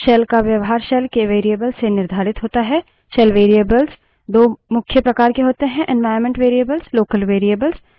shell variables दो मुख्य प्रकार के होते हैं